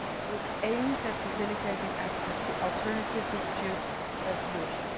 which aims at facilitating access to alternative dispute resolution.